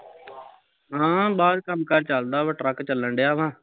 ਹਾਂ ਬਾਹਰ ਕੰਮ ਕਾਰ ਚੱਲਦਾ ਵਾਂ ਟਰੱਕ ਚੱਲਣ ਡਿਆ ਵਾਂ